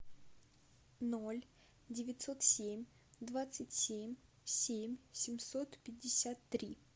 ноль девятьсот семь двадцать семь семь семьсот пятьдесят три